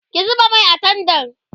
ki zuba Mai a tendan